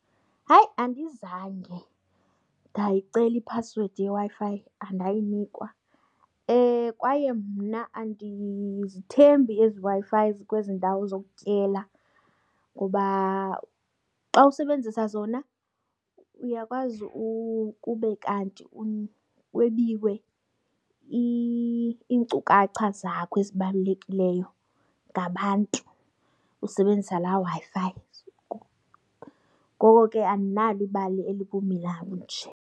Hayi, andizange ndayicela iphasiwedi yeWi-Fi andayinikwa kwaye mna andizithembi ezi Wi-Fi zikwezindawo zokutyela ngoba xa usebenzisa zona uyakwazi ukube kanti kwebiwe iinkcukacha zakho ezibalulekileyo ngabantu usebenzisa laa Wi-Fi. Ngoko ke andinalo ibali elibumila bunje.